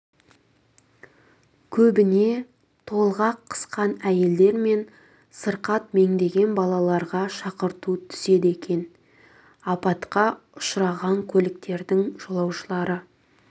көбіне толғақ қысқан әйелдер мен сырқат меңдеген балаларға шақырту түседі екен апатқа ұшыраған көліктердің жолаушылары